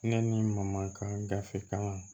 Ne ni mamaka gafe kan